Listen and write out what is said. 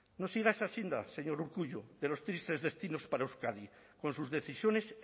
no siga esa senda señor urkullu de los tristes destinos para euskadi con sus decisiones